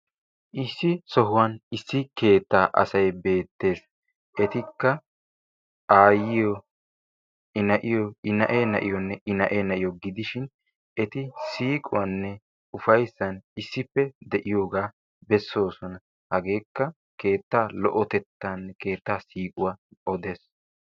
Issi sohuwan issi keettaa asayi beettes. Etikka aayyiyo, na"iyo,i na"ee na"iyonne,i na"ee na"iyo gidishin eti siiquwaninne ufayssan issippe de"iyogaa bessoosona. Hageekka keettaa lo"otettaanne keettaa siiquwa odes.